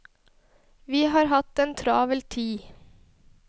Vi har hatt en travel tid.